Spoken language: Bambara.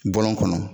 Bɔlɔn kɔnɔ